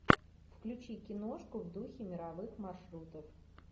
включи киношку в духе мировых маршрутов